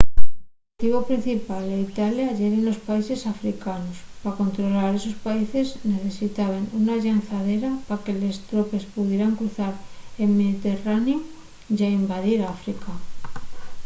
l'oxetivu principal d'italia yeren los países africanos pa controlar esos países necesitaben una llanzadera pa que les tropes pudieran cruzar el mediterraneu ya invadir áfrica